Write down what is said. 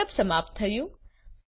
set up સમાપ્ત થયું